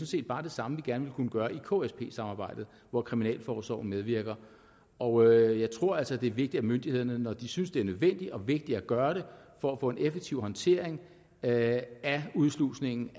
set bare det samme vi gerne vil kunne gøre i ksp samarbejdet hvor kriminalforsorgen medvirker og jeg tror altså det er vigtigt at myndighederne når de synes det er nødvendigt og vigtigt at gøre det for at få en effektiv håndtering af udslusningen